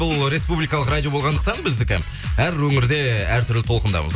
бұл республикалық радио болғандықтан біздікі әр өңірде әр түрлі толқындамыз